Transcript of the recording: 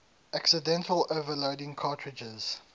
accidentally overloading cartridges